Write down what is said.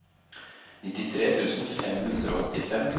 nittitre tusen fem hundre og åttifem